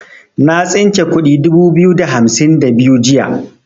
Na tsince kudi dubu biyu da hamsin da biyu jiya.